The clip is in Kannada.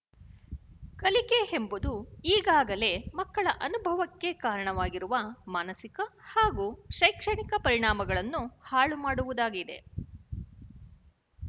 ಕಲಿಕೆಯೆಂಬುದು ಈಗಾಗಲೇ ಮಕ್ಕಳ ಅನುಭವಕ್ಕೆ ಕಾರಣವಾಗಿರುವ ಮಾನಸಿಕ ಹಾಗೂ ಶೈಕ್ಷಣಿಕ ಪರಿಣಾಮಗಳನ್ನು ಹಾಳು ಮಾಡುವುದಾಗಿದೆ